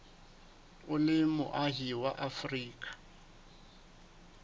o le moahi wa afrika